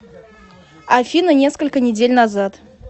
афина несколько недель назад